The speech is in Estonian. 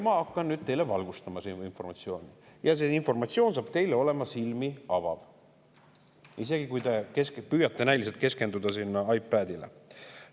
Ma hakkan nüüd teid selles valgustama, see informatsioon on teile silmi avav, isegi kui te püüate näiliselt keskenduda oma iPadile.